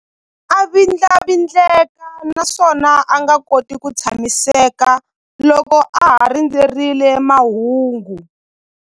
A vindlavindleka naswona a nga koti ku tshamiseka loko a ha rindzerile mahungu.